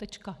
Tečka.